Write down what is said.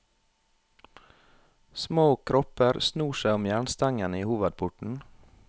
Små kropper snor seg om jernstengene i hovedporten.